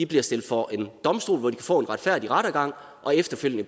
bliver stillet for en domstol hvor de får en retfærdig rettergang og efterfølgende